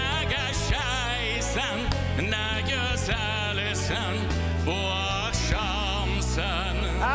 Nə gözəlsən, nə gözəlsən, bu axşamsan!